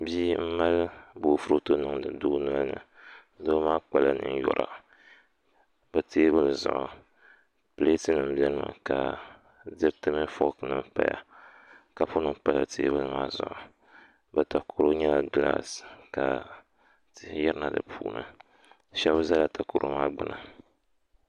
Bia n mali boofurooto n niŋdi doo nolini doo maa kpala ninkpara bi teebuli zuɣu pileet nim biɛni mi ka diriti mini fook nim paya kapu nim pala teebuli maa zuɣu di takoro nyɛla gilaas ka tihi yirina di puuni shab ʒɛla takoro maa gbuni